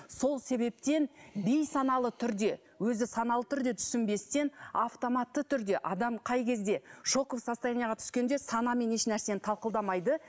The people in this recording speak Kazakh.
сол себептен бейсаналы түрде өзі саналы түрде түсінбестен автоматты түрде адам қай кезде шоковое состояниеге түскенде санамен ешнәрсені талқыламайды